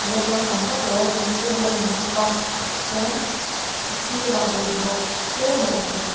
la changkang vak loa thingkung a lang bawk a chuan a sirah bawlhhlawh tlem a awm bawk.